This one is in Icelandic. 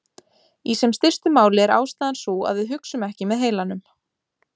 Í sem stystu máli er ástæðan sú að við hugsum ekki með heilanum.